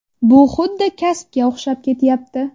Bu xuddi kasbga o‘xshab ketyapti.